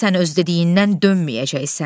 Sən öz dediyindən dönməyəcəksən.